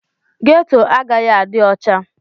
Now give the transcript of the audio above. Ghetto agaghị adị ọcha.